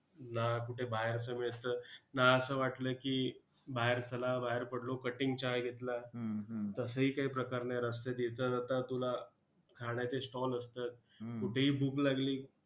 ना कुठे बाहेरचं मिळतं, ना असं वाटलं की बाहेर चला, बाहेर पडलो, cutting चहा घेतला, तसंही काही प्रकार नाही! रस्त्यात येता-जाता तुला खाण्याचे stall असतात. कुठेही भूक लागली